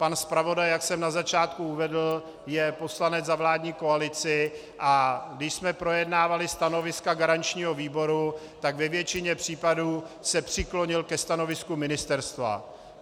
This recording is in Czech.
Pan zpravodaj, jak jsem na začátku uvedl, je poslancem za vládní koalici, a když jsme projednávali stanoviska garančního výboru, tak ve většině případů se přiklonil ke stanovisku ministerstva.